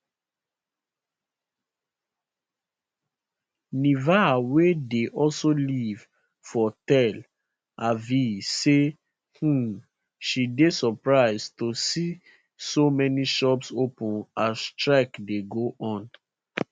niva wey dey also live for tel aviv say um she dey surprised to see so many shops open as strike dey go on